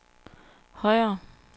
højere